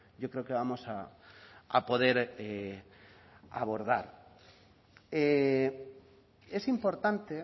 yo creo que vamos a poder abordar es importante